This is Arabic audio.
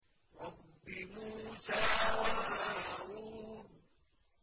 رَبِّ مُوسَىٰ وَهَارُونَ